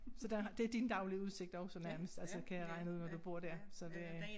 Så der har det din daglige udsigt også nærmest altså kan jeg regne ud når du bor dér så det